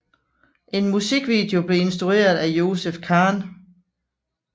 En musikvideo blev instrueret af Joseph Khan